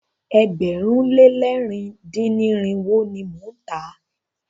Ẹgbẹ̀rún lé lẹ̀rin dín ní irinwó ni mo ń tà á.